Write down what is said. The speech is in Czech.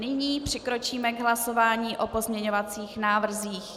Nyní přikročíme k hlasování o pozměňovacích návrzích.